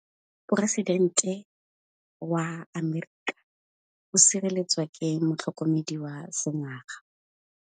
Poresitêntê wa Amerika o sireletswa ke motlhokomedi wa sengaga.